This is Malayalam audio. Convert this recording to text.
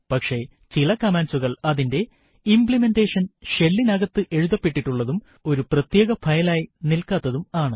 പക്ഷെ ചില കമാൻഡ്സുകൾ അതിന്റെ ഇംപ്ലിമെൻറെഷൻ shell നകത്ത് എഴുതപ്പെട്ടിട്ടുള്ളതും ഒരു പ്രത്യേക ഫയൽ ആയി നിൽകാത്തതും ആണ്